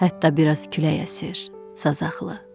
Hətta biraz külək əsir, sazaqlı.